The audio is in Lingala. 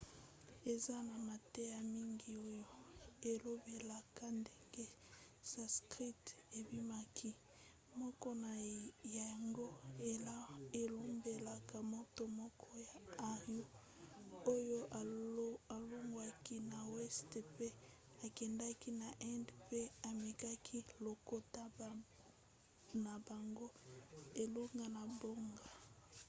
eza na mateya mingi oyo elobelaka ndenge sanskrit ebimaki. moko na yango elobelaka moto moko ya aryan oyo alongwaki na weste mpe akendaki na inde mpe amemaki lokota na bango elongo na bango